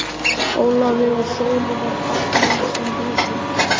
Ólafi og Sólu var fagnað sem hetjum.